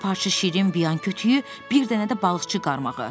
Bir parça şirin biyan kütüyü, bir dənə də balıqçı qaramağı.